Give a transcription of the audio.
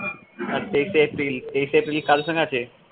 হ্যাঁ তেইশ april তেইশ april কি কারো সঙ্গে আছে?